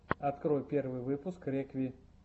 открой первый выпуск рекви